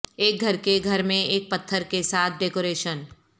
ایک گھر کے گھر میں ایک پتھر کے ساتھ ڈیکوریشن